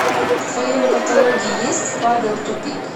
в твоем каталоге есть павел тупик